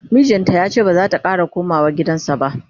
mijin yace bazata Kara komawa gidansa ba